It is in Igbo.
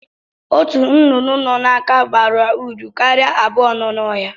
Ọtu nnụnụ nọ n'aka bara uru karịa abụọ nọ n'ohia.